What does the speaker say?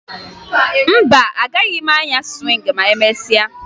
Mba, agaghị m anya sụwịngị ma emesịa